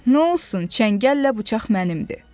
Nə olsun çəngəllə bıçaq mənimdir.